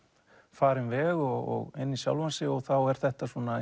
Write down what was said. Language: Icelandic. farinn veg og inn í sjálfan sig og þá er þetta svona